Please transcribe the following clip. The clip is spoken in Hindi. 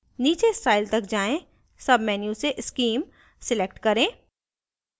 नीचे style तक जाएँ submenu से scheme select करें